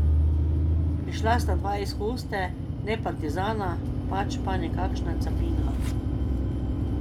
Prišla sta dva iz hoste, ne partizana, pač pa nekakšna capina.